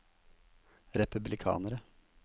republikanere